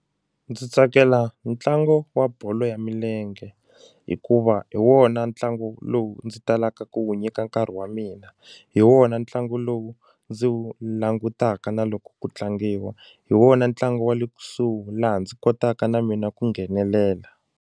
Ndzi tsakela ntlangu wa bolo ya milenge hikuva hi wona ntlangu lowu ndzi talaka ku wu nyika nkarhi wa mina hi wona ntlangu lowu ndzi wu langutaka na loko ku tlangiwa hi wona ntlangu wa le kusuhi laha ndzi kotaka na mina ku nghenelela.